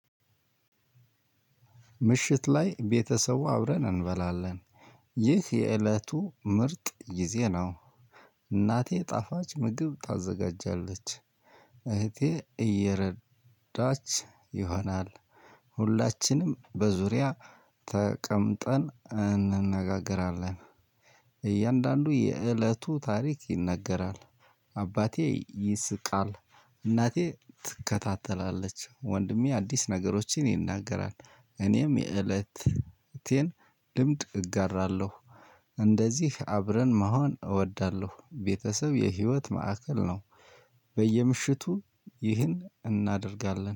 ምሽት ላይ ቤተሰቡ አብረን እንበላለን። ይህ የእለቱ ምርጥ ጊዜ ነው። እናቴ ጣፋጭ ምግብ ታዘጋጃለች። እህቴ እየረዳ ች ይሆናል። ሁላችንም በዙሪያ ተቀምጠን እንነጋገራለን። እያንዳንዱ የእለቱ ታሪክ ይነገራል። አባቴ ይስቃል። እናቴ ትከታተላለች ወንድሜ አዲስ ነገሮችን ይናገራል። እኔም የእለት እቴን ልምድ እጋራለሁ። እንደዚህ አብረን መሆን እወዳለሁ ቤተሰብ የህይወት ማዕከል ነው። በየምሺቱ ይሄን እናደርጋለን